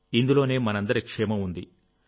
ఇందులోనే మనందరి క్షేమం ఉంది